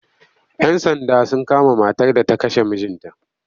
Yan Sanda sun kama matar da ta kashe mijinta